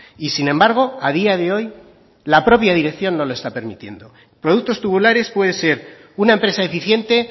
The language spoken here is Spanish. y sin embargo a día de hoy la propia dirección no lo está permitiendo productos tubulares puede ser una empresa eficiente